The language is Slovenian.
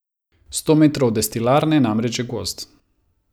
Sto metrov od destilarne je namreč že gozd.